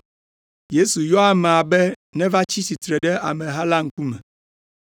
Yesu yɔ amea be neva tsi tsitre ɖe ameha la ŋkume.